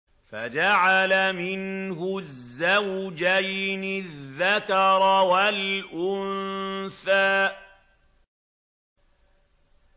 فَجَعَلَ مِنْهُ الزَّوْجَيْنِ الذَّكَرَ وَالْأُنثَىٰ